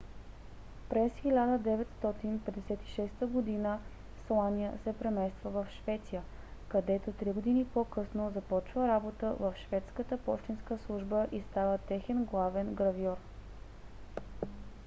през 1956 г. слания се премества в швеция където три години по - късно започва работа в шведската пощенска служба и става техен главен гравьор